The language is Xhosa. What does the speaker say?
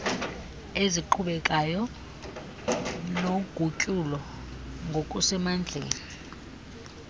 eziqhubekekayo nogutyulo ngokusemandleni